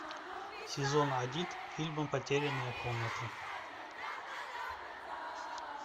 сезон один фильма потерянная комната